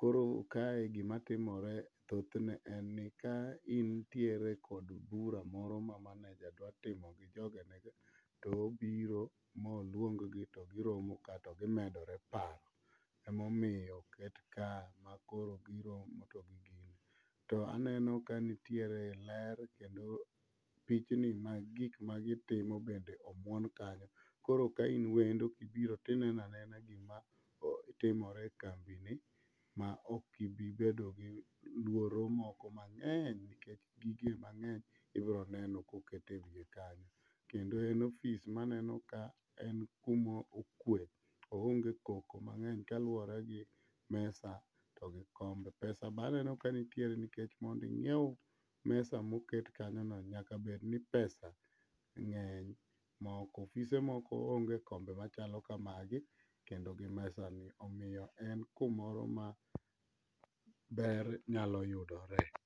Koro kae gimatimore thothne en ni ka intiere kod bura moro ma maneja dwatimo gi jogene to obiro moluonggi to giromoka to gimedore paro emomiyo oket ka makoro biro. To aneno kanitiere ler kendo pichni mag gik magitimo bende omuon kanyo koro kain wendo kibiro tineno anena gimatimore e kambini maokibibedo gi luoro moko mang'eny nikech gigi mang'eny ibroneno koket e wiye kanyo. Kendo en ofis maneno ka en kumokwe oonge koko mang'eny klaluwore gi mesa to gi komb. Pesa baneno kanitiere nikech mondinyiew mesa moket kanyono nyakabed ni pesa ng'eny ofise moko onge kombe machalo kamagi to gi mesani omiyo en kumo ma ber nyalo yudore.